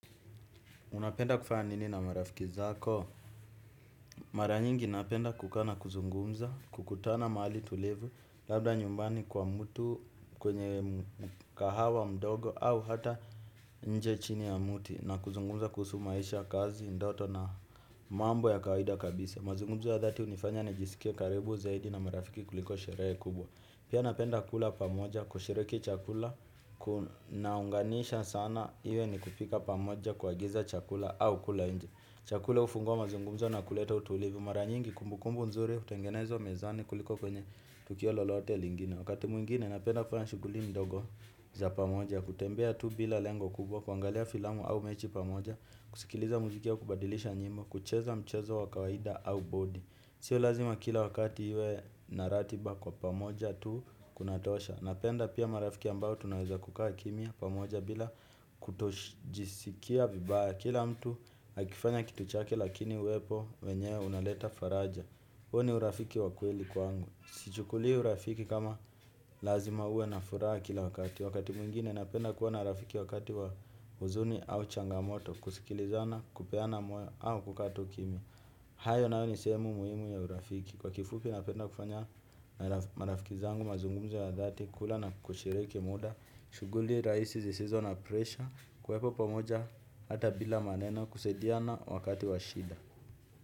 Unapenda kufanya nini na marafiki zako. Maranyingi napenda kuka na kuzungumza, kukutana mahali tulivu, labda nyumbani kwa mtu kwenye mkahawa mdogo au hata inje chini ya mti na kuzungumza kuhusu maisha kazi, ndoto na mambo ya kawaida kabisa. Mazungumzo ya dhati hunifanya na jisikie karibu zaidi na marafiki kuliko sherehe kubwa. Pia napenda kula pamoja kushiriki chakula. Kunaunganisha sana iwe ni kupika pamoja ku angiza chakula au kula inje. Chakula hufungua mazungumzo na kuleta utulivu. Maranyingi kumbukumbu nzuri hutengenezwa mezani kuliko kwenye tukio lolote lingine. Wakati mwingine napenda kufanya shughuli ndogo za pamoja. Kutembea tu bila lengo kubwa kwangalia filamu au mechi pamoja. Kusikiliza muziki au kubadilisha nyimbo. Kucheza mchezo wakawaida au bodi. Sio lazima kila wakati iwe naratiba kwa pamoja tu kunatosha, napenda pia marafiki ambao tunaweza kukaa chini pamoja bila kutojisikia vibaya. Kila mtu akifanya kituchake lakini uwepo wenyewe unaleta faraja. Huo ni urafiki wakweli kwangu. Sichukuli urafiki kama lazima uwe na furaha kila wakati. Wakati mwingine napenda kuona rafiki wakati wa huzuni au changamoto. Kusikilizana, kupeana moyo au kuka tu chini. Hayo nayo ni semu muhimu ya urafiki. Kwa kifupi napenda kufanya marafiki zangu mazungumuzo ya dhati. Kula na kushiriki muda. Shughuli raisi zisizo na presha. Kuwepo pamoja ata bila maneno kusaidiana wakati washida.